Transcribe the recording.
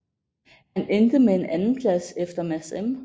Han endte med en andenplads efter Mads M